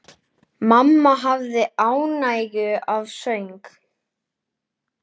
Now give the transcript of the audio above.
Mamma hafði ánægju af söng.